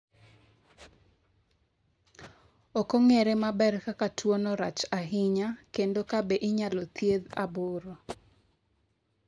Ok ong’ere maber kaka tuwono rach ahinya kendo ka be inyalo thiedhi 8.